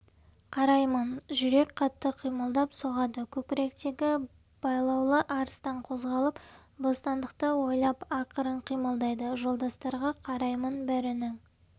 қараймын жүрек қатты қимылдап соғады көкіректегі байлаулы арыстан қозғалып бостандықты ойлап ақырын қимылдайды жолдастарға қараймын бәрінің